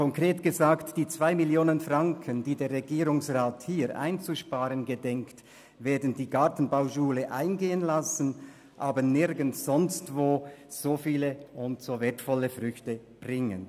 Konkret gesagt: Die 2 Mio. Franken, die der Regierungsrat hier einzusparen gedenkt, werden die Gartenbauschule eingehen lassen, aber nirgendwo sonst so wertvolle Früchte bringen.